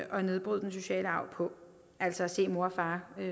bryde den negative sociale arv på altså at se mor og far